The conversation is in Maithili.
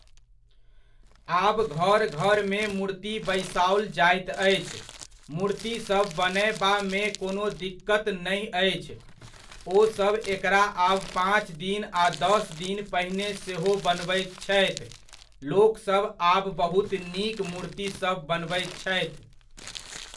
आब घर घर मे मूर्ति बैसाओल जाइत अछि। मूर्तिसभ बनयबामे कोनो दिक्कति नहि अछि। ओसभ एकरा आब पाँच दिन आ दस दिन पहिने सेहो बनबैत छथि। लोकसभ आब बहुत नीक मूर्तिसभ बनबैत छथि।